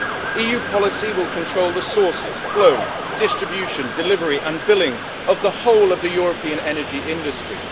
EU policy will control the sources, flow, distribution, delivery and billing of the whole of the European energy industry.